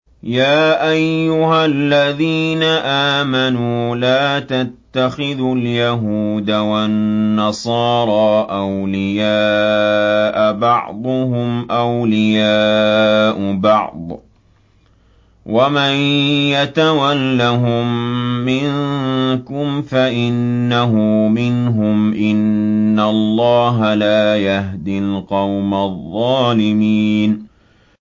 ۞ يَا أَيُّهَا الَّذِينَ آمَنُوا لَا تَتَّخِذُوا الْيَهُودَ وَالنَّصَارَىٰ أَوْلِيَاءَ ۘ بَعْضُهُمْ أَوْلِيَاءُ بَعْضٍ ۚ وَمَن يَتَوَلَّهُم مِّنكُمْ فَإِنَّهُ مِنْهُمْ ۗ إِنَّ اللَّهَ لَا يَهْدِي الْقَوْمَ الظَّالِمِينَ